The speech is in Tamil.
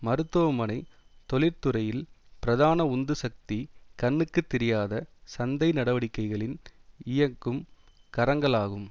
மருத்துவ மனை தொழிற்துறையில் பிரதான உந்து சக்தி கண்ணுக்கு தெரியாத சந்தை நடவடிக்கைகளின் இயக்கும் கரங்களாகும்